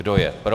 Kdo je pro?